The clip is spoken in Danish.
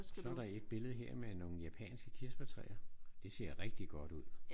Så er der et billede her med nogle japanske kirsebærtræer. Det ser rigtig godt ud